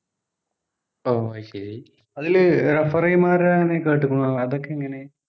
ഓഹ് അയ്‌ശെരി അതില് referee മാരെ കേട്ടുക്കുണ്അതൊക്കെ എങ്ങനെയാ